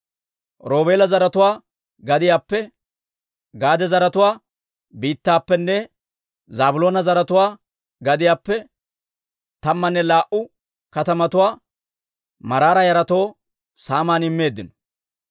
Roobeela zaratuwaa gadiyaappe, Gaade zaratuwaa biittaappenne Zaabiloona zaratuwaa gadiyaappe tammanne laa"u katamatuwaa Maraara yaratoo saaman immeeddino.